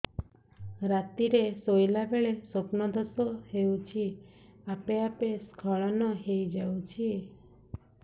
ରାତିରେ ଶୋଇଲା ବେଳେ ସ୍ବପ୍ନ ଦୋଷ ହେଉଛି ଆପେ ଆପେ ସ୍ଖଳନ ହେଇଯାଉଛି